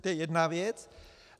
To je jedna věc.